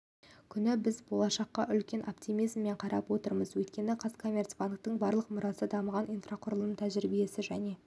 күні біз болашаққа үлкен оптимизммен қарап отырмыз өйткені қазкоммерцбанктің барлық мұрасы дамыған инфрақұрылымы тәжірибесі және